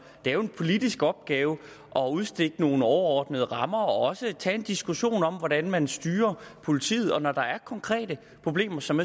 det er jo en politisk opgave at udstikke nogle overordnede rammer og også tage en diskussion om hvordan man styrer politiet og når der er konkrete problemer som